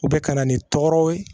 U bɛ ka na ni tɔgɔw ye